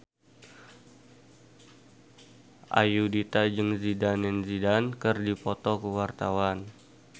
Ayudhita jeung Zidane Zidane keur dipoto ku wartawan